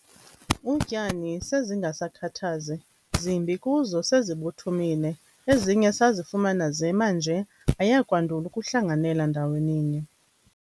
utyani se zingasakhathazi, zimbi kuzo sezibuthumile, ezinye sezifumana zema nje, ayakwandul'ukuhlanganela ndaweni nye.